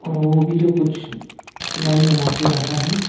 और वो भी जो कुछ लाइन बनाके रखा है।